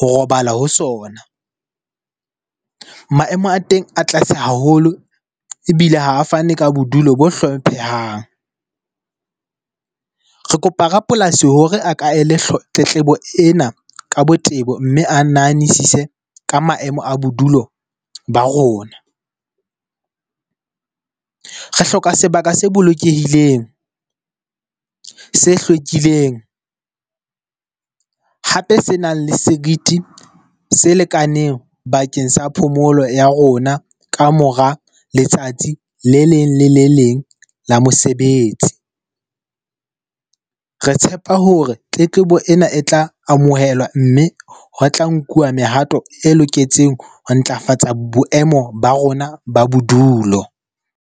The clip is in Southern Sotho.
ho robala ho sona. Maemo a teng a tlase haholo ebile ha a fane ka bodulo bo hlomphehang. Re kopa rapolasi hore a ka ele hloko tletlebo ena ka botebo, mme a nahanisise ka maemo a bodulo ba rona. Re hloka sebaka se bolokehileng, se hlwekileng hape senang le seriti se lekaneng bakeng sa phomolo ya rona ka mora letsatsi le leng le le leng la mosebetsi. Re tshepa hore tletlebo ena e tla amohelwa mme ho tla nkuwa mehato e loketseng ho ntlafatsa boemo ba rona ba bodulo.